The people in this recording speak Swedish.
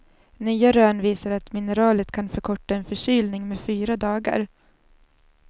Nya rön visar att mineralet kan förkorta en förkylning med fyra dagar.